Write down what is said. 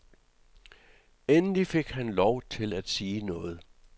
Endelig fik han lov til at sige noget.